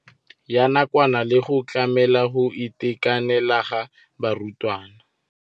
Ya nakwana le go tlamela go itekanela ga barutwana.